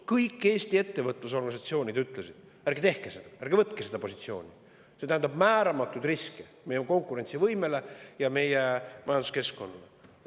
Kõik Eesti ettevõtlusorganisatsioonid ütlesid, et ärge tehke seda, ärge võtke seda positsiooni, sest see tähendab määramatut riski meie konkurentsivõimele ja majanduskeskkonnale.